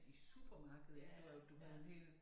I supermarkedet ik hvor jo du havde en hel